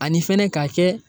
Ani fɛnɛ k'a kɛ